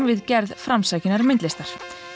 við gerð framsækinnar myndlistar